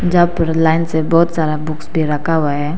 यहां पर लाइन से बहुत सारा बुक्स भी रखा हुआ है।